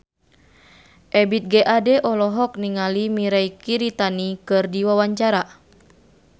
Ebith G. Ade olohok ningali Mirei Kiritani keur diwawancara